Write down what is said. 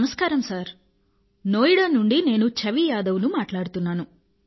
నమస్కారం సర్ నోయిడా నుండి నేను ఛవీ యాదవ్ ను మాట్లాడుతున్నాను